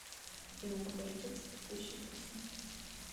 афина покажи текст текущей песни